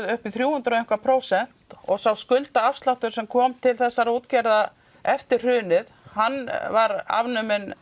upp í þrjú hundruð prósent og sá skuldaafsláttur sem kom til þessara útgerða eftir hrunið hann var afnuminn